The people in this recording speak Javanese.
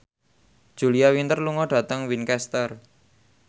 Julia Winter lunga dhateng Winchester